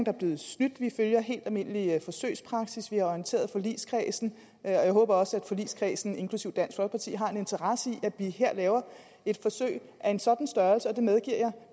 er blevet snydt vi følger helt almindelig forsøgspraksis vi har orienteret forligskredsen jeg håber også at forligskredsen inklusive dansk folkeparti har en interesse i at vi her laver et forsøg af en sådan størrelse og det medgiver jeg